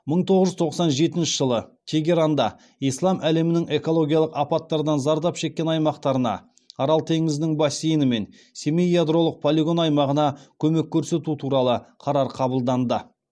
мың тоғыз жүз тоқсан жетінші жылы тегеранда ислам әлемінің экологиялық апаттардан зардап шеккен аймақтарына арал теңізінің бассейні мен семей ядролық полигон аймағына көмек көрсету туралы қарар қабылданды